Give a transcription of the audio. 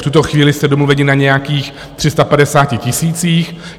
V tuto chvíli jste domluveni na nějakých 350 tisících.